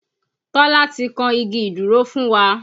Tọ́lá ti kan igi ìdúró fún wa